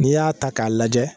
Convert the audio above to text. N'i y'a ta k'a lajɛ